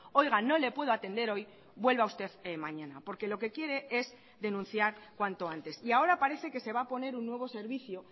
oiga no le puedo atender hoy vuelva usted mañana porque lo que quiere es denunciar cuanto antes y ahora parece que se va a poner un nuevo servicio